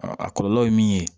A kɔlɔlɔ ye min ye